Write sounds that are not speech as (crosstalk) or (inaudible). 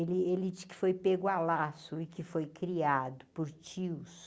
Ele (unintelligible) que pegar a laço e que foi criado por tios.